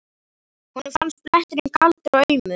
Honum fannst bletturinn kaldur og aumur.